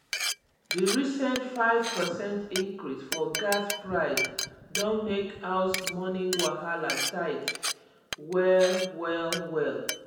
di recent 5 percent increase for gas price don make house money wahala tight well well well.